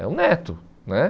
É um neto né.